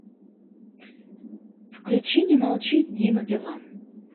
включи не молчи дима билан